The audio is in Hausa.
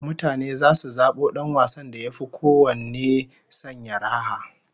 Mutane zasu zabo dan wasan da yafi kowanne sanya raha